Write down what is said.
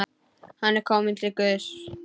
Hann er kominn til Guðs.